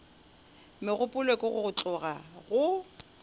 megopolo ke go tloga go